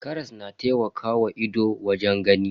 Karas na taimakawa ido wajen gani.